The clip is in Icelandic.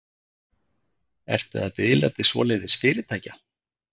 Ertu að biðla til svoleiðis fyrirtækja?